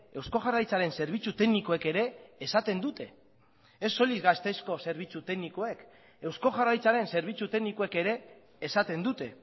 eusko jaurlaritzaren zerbitzu teknikoek ere esaten dute ez soilik gasteizko zerbitzu teknikoek eusko jaurlaritzaren zerbitzu teknikoek ere esaten dute